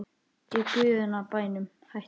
Í guðanna bænum hættu